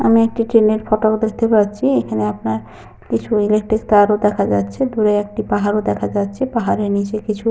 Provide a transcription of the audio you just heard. আমি একটি ট্রেন এর ফটো ও দেখতে পাচ্ছি। এখানে আপনার কিছু ইলেক্ট্রিক তার ও দেখা যাচ্ছে। দূরে একটি পাহাড়ও দেখা যাচ্ছে। পাহাড়ের নিচে কিছু।